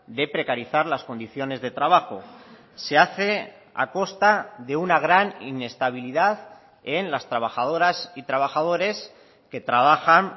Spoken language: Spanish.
de precarizar las condiciones de trabajo se hace a costa de una gran inestabilidad en las trabajadoras y trabajadores que trabajan